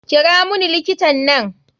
Kira muni likitan nan.